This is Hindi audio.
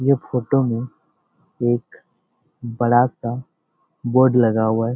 ये फोटो में एक बड़ा-सा बोर्ड लगा हुआ है ।